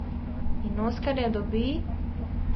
In oskarja dobi ...